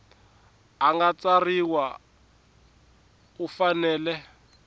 a nga tsarisiwa u fanele